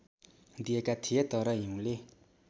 दिएका थिए तर हिउँले